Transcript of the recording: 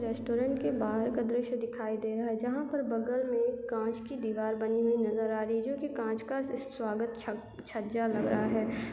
Restaurant के बाहर का दृश्य दिखाई दे रहा है जहाँ पर बगल में कांच की दीवार बनी हुई नज़र आ रही जो कांच का स्वागत छक छज्जा लगा है।